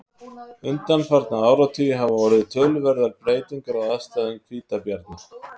undanfarna áratugi hafa orðið töluverðar breytingar á aðstæðum hvítabjarna